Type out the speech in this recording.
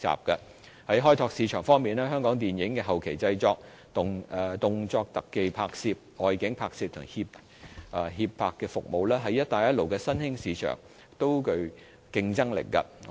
在開拓市場方面，香港電影的後期製作、動作特技拍攝、外景拍攝和協拍服務，在"一帶一路"的新興市場也具競爭力。